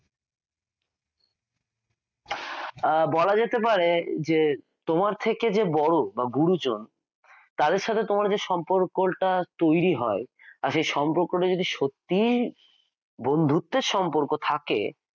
আহ বলা যেতে পারে যে তোমার থেকে যে বড় বা গুরুজন তাদের সাথে তোমার যে সম্পর্কটা তৈরি হয় আর সে সম্পর্কটা যদি সত্যিই বন্ধুত্বের সম্পর্ক থাকে